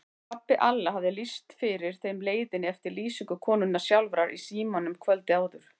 Pabbi Alla hafði lýst fyrir þeim leiðinni eftir lýsingu konunnar sjálfrar í símanum kvöldið áður.